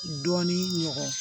Dɔɔnin ɲɔgɔn